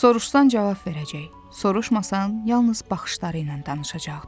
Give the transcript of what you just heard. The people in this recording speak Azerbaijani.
Soruşsan cavab verəcək, soruşmasan yalnız baxışları ilə danışacaqdı.